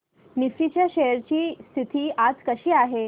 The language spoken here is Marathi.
निफ्टी च्या शेअर्स ची स्थिती आज कशी आहे